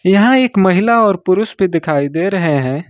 यहां एक महिला और पुरुष भी दिखाई दे रहे हैं।